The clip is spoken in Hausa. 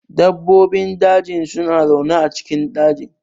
Dabbobin daji suna zaune a cikin dajin.